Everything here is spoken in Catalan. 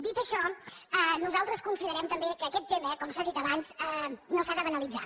dit això nosaltres considerem també que aquest tema com s’ha dit abans no s’ha de banalitzar